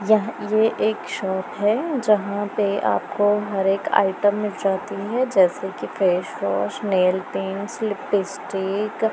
यहां ये एक शॉप है जहां पे आपको हर एक आइटम मिल जाती है जैसे की फेसवॉश नेलपेंट्स लिपिस्टिक ।